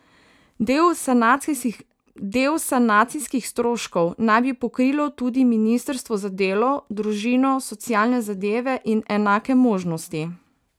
Del sanacijskih stroškov naj bi pokrilo tudi ministrstvo za delo, družino, socialne zadeve in enake možnosti.